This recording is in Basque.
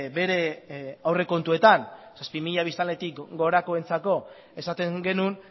bere aurrekontuetan zazpi mila biztanletik gorakoentzako esaten genuen